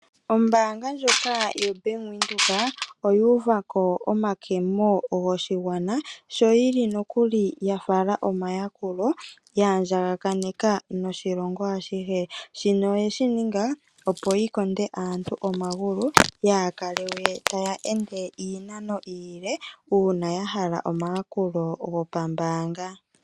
Ombaaga ndjoka yoBank Windhoek oyu uva ko omakemo goshigwana. Sho yili nokuli ya fala omayakulo ya andjaganeka noshilongo ashihe. Shino oyeshi ninga ya konde aantu omagulu yaakale we taya ende iinano iile uuna ya hala omayakulo gopambaanga.